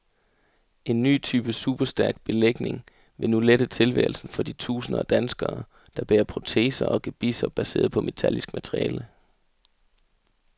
En ny type superstærk belægning vil nu lette tilværelsen for de tusinder af danskere, der bærer proteser og gebisser baseret på metallisk materiale.